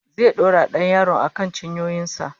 Zai dora dan yaron akan cinyoyin sa